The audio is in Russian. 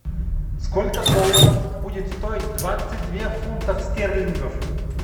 сколько долларов будет стоить двадцать две фунтов стерлингов